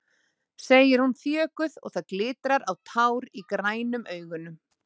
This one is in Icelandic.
segir hún þjökuð og það glitrar á tár í grænum augunum.